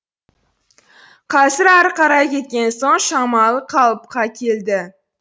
қазір ары қарай кеткен соң шамалы қалыпқа келді